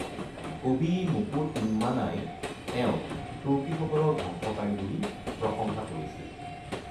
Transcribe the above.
কবি মুকু তিম্মানাই তেওঁক তুৰ্কীসকলৰ ধ্বংসকাৰী বুলি প্ৰশংসা কৰিছিল।